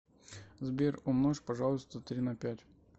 сбер умножь пожалуйста три на пять